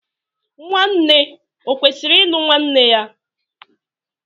Nwanne o kwụsịrị ịlụ nwanne ya?